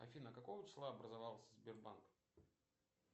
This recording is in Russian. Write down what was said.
афина какого числа образовался сбербанк